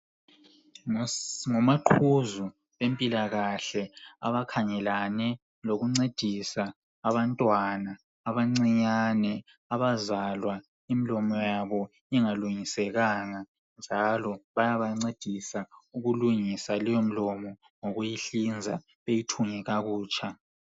Ngomaqhuzu bempilakakahle abakhangelane lokuncedisa abantwana abancinyane abazalwa imlomo yabo ingalungisekanga njalo bayabancedisa ngokulungisa leyo mlomo ngokuyihlinza beyithunge kakutsha.